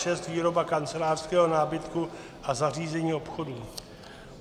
N296 - výroba kancelářského nábytku a zařízení obchodu.